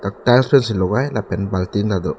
tiles pen si logai lapen baltin tado.